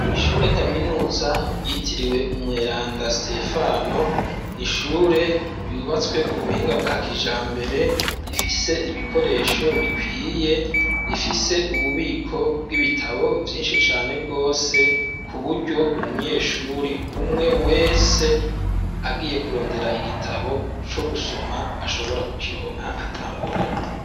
ishure kaminuza yitiriwe umweranda sitefano n'ishure ryubatswe ku buhinga bwa kijambere rifise ibikoresho bikwiye rifise ububiko bw'ibitabo vyinshi cane gwose kuburyo umunyeshure umwe wese agiye kurondera igitabo co gusoma ashobora kukironka atangorane.